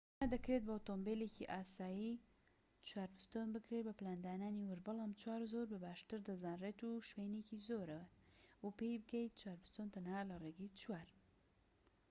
ئەمە دەکرێت بە ئۆتۆمۆبیلێکی ئاسایی بکرێت بە پلاندانانی وورد بەڵام 4x4 زۆر بە باشتر دەزانرێت و شوێنێکی زۆر تەنها لە ڕێگەی 4x4ەوە پێی بگەیت